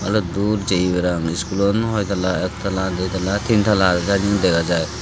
baluddur jeye parapang iskulon hoi tala ektala ditala tintala agey sannye dega jaai.